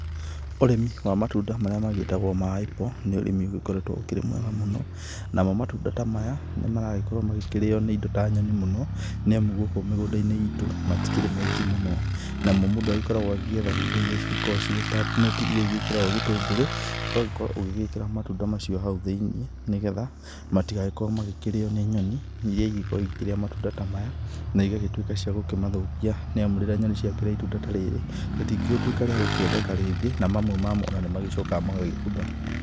Ũrĩmi wa matunda marĩa magĩtagwo ma apple nĩ ũrĩmi ũgĩkoretwo ũkĩrĩ mwega mũno. Namo matunda ta maya nĩ maragĩkorwo makĩrio nĩ indo ta nyoni mũno nĩ amu gũkũ mĩgũnda-inĩ itũ matikĩrĩ maingĩ mũno. Namo mũndũ agĩkoragwo agĩetha indo iria cigĩkoragwo cirĩ ta neti iria igĩkĩragwo gĩtũngũrũ, ũgagĩkorwo ũgĩgĩkĩra matunda macio hau thĩ-inĩ nĩ getha matigagĩkorwo magĩkĩrĩo nĩ nyoni iria ingĩkoragwo igĩkĩrĩa matunda ta maya na igagĩtuĩka cia kũmathũkia, nĩ amu rĩrĩa nyoni ciakĩrĩa itunda ta rĩrĩ rĩtingĩgĩtuĩka rĩa gũkĩendeka rĩngĩ na mamwe mamo ona nĩmagĩcokaga magagĩbutha.